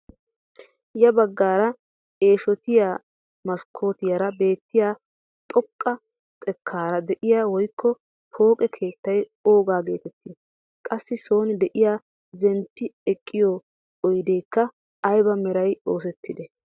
Ya baggaara eeshotiyaa maskkotiyaara beettiyaa xoqqa xekkaara de'iyaa woykko pooqe keettay oogaa getettii? qassi soon de'iyaa zemppi ekkiyoo oydeekka ayba meran oosettidee?